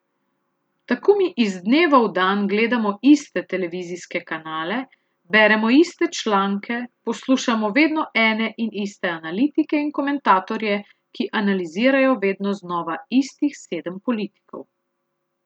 Tako mi iz dneva v dan gledamo iste televizijske kanale, beremo iste članke, poslušamo vedno ene in iste analitike in komentatorje, ki analizirajo vedno znova istih sedem politikov.